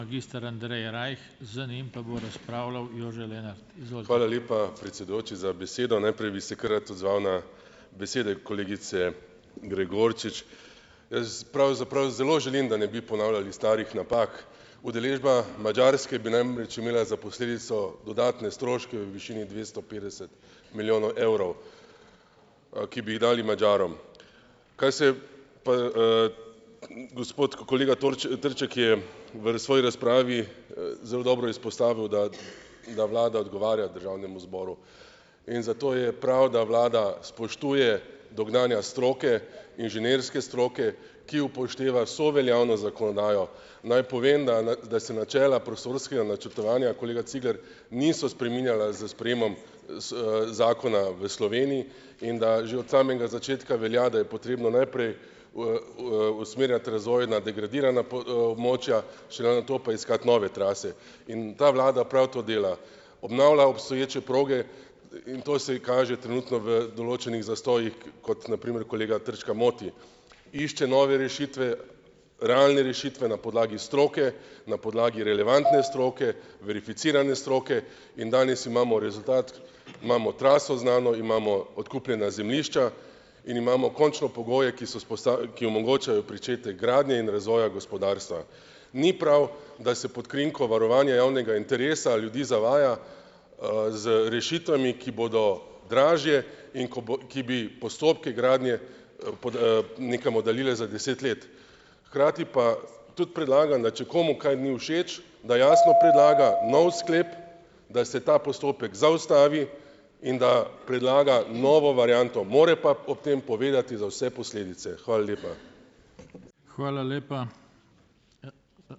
Predsedujoči za besedo. Najprej bi se kar rad odzval na besede kolegice Gregorčič. Jaz pravzaprav zelo želim, da ne bi ponavljali starih napak. Udeležba Madžarske bi namreč imela za posledico dodatne stroške v višini dvesto petdeset milijonov evrov, ki bi jih dali Madžarom. Kaj se je pa, gospod kolega Trček je v svoji razpravi, zelo dobro izpostavil, da da vlada odgovarja državnemu zboru, in zato je prav, da vlada spoštuje dognanja stroke, inženirske stroke, ki upošteva vso veljavno zakonodajo. Naj povem, na da da se načela prostorskega načrtovanja, kolega Cigler, niso spreminjala z sprejemom Zakona v Sloveniji, in da že od samega začetka velja, da je potrebno najprej usmerjati razvoj na degradirana območja, šele nato pa iskati nove trase. In ta vlada prav to dela. Obnavlja obstoječe proge, in to se ji kaže trenutno v določenih zastojih, kot na primer kolega Trčka moti. Išče nove rešitve, realne rešitve na podlagi stroke, na podlagi relevantne stroke, verificirane stroke in danes imamo rezultat, imamo traso znano, imamo odkupljena zemljišča in imamo končno pogoje, ki so ki omogočajo pričetek gradnje in razvoja gospodarstva. Ni prav, da se pod krinko varovanja javnega interesa ljudi zavaja, z rešitvami, ki bodo dražje in ko bo ki bi postopke gradnje, pod, nekam oddaljile za deset let. Hkrati pa tudi predlagam, da če komu kaj ni všeč, da jasno predlaga nov sklep, da se ta postopek zaustavi, in da predlaga novo varianto, mora pa ob tem povedati za vse posledice. Hvala lepa.